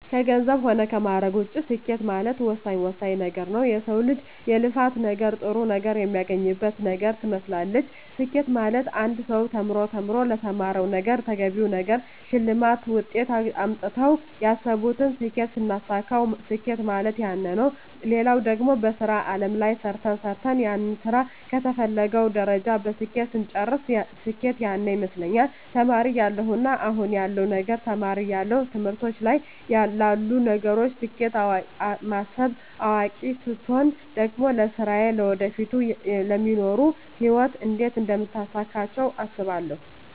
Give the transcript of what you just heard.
ከገንዘብ ሆነ ከማእረግ ውጭ ስኬት ማለት ወሳኝ ወሳኝ ነገረ ነዉ የሰው ልጅ የልፋት ነገር ጥሩ ነገር የሚያገኝበት ነገር ትመስላለች ስኬት ማለት አንድ ሰው ተምሮ ተምሮ ለተማረዉ ነገረ ተገቢውን ነገር ሸልማት ውጤት አምጥተው ያሰብቱን ስኬት ስናሳካዉ ስኬት ማለት ያነ ነዉ ሌላው ደግሞ በሥራ አለም ላይ ሰርተ ሰርተን ያንን ስራ ከተፈለገዉ ደረጃ በስኬት ስንጨርስ ስኬት ያነ ይመስለኛል ተማሪ እያለው እና አሁን ያለዉ ነገር ተማሪ እያለው ትምህርቶች ላይ ላሉ ነገሮች ስኬት ማስብ አዋቂ ስቾን ደግሞ ለስራየ ለወደፊቱ ለሚኖሩ ህይወት እንዴት አደምታሳካቸው አስባለሁ